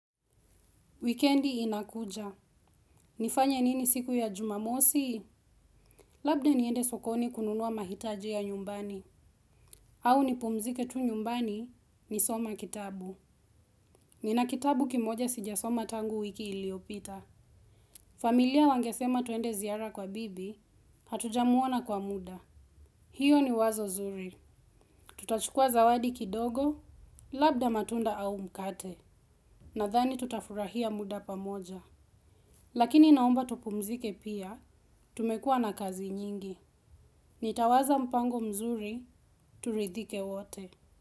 Wikendi inakuja. Nifanye nini siku ya jumamosi? Labda niende sokoni kununua mahitaji ya nyumbani. Au nipumzike tu nyumbani nisoma kitabu. Nina kitabu kimoja sijasoma tangu wiki iliyopita. Familia wangesema tuende ziara kwa bibi, hatuja muona kwa muda. Hio ni wazo zuri. Tutachukua zawadi kidogo, labda matunda au mkate. Na dhani tutafurahia muda pamoja. Lakini naomba tupumzike pia, tumekua na kazi nyingi. Nitawaza mpango mzuri, turidhike wote.